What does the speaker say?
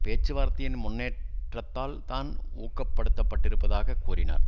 பேச்சுவார்த்தையின் முன்னேற்றத்தால் தான் ஊக்கப்படுத்தப்பட்டிருப்பதாக கூறினார்